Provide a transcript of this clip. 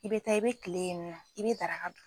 I bɛ taa i be kilen ye nɔn i be daraka dun